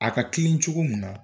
A ka kelen cogo mun na